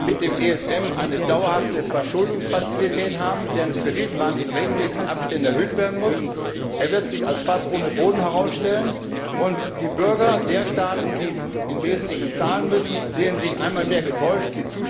Wir werden mit dem ESM eine dauerhafte Verschuldungsfazilität haben, deren Kreditrahmen in regelmäßigen Abständen erhöht werden muss. Er wird sich als Fass ohne Boden herausstellen, und die Bürger der Staaten, die im Wesentlichen zahlen müssen, sehen sich einmal mehr getäuscht.